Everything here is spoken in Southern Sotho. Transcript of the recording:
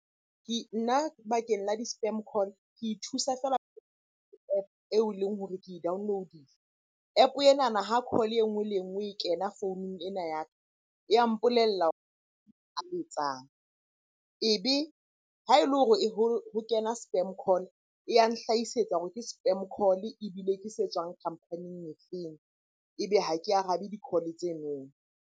Nna bakeng la di-spam call ke ithusa fela eo e leng hore ke download-ile. App-o enana ha call enngwe le enngwe e kena founung ena ya ka, ya mpolella . Ebe ha e le hore ho kena spam call-e e ya nhlahisetsa hore ke spam call-e, ebile ke se tswang company-ing e feng? Ebe ha ke arabe di-call-e tseno.